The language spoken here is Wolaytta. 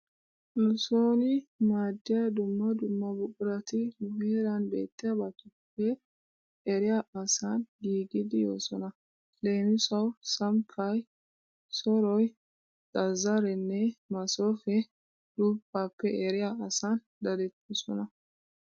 Nu sooni maaddiya dumma dumma buqurati nu heeran beetiyabatuple eriya asan giigidi yoosona. Leemisuwawu sammppay, soroy, zazzareenne masoofee duppaappe eriya asan dadettoosona.